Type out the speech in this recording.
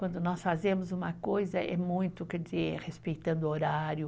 Quando nós fazemos uma coisa, é muito, quer dizer, respeitando o horário.